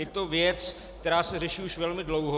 Je to věc, která se řeší už velmi dlouho.